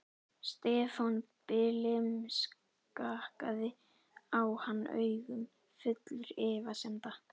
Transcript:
Stefán blimskakkaði á hann augum, fullur efasemda.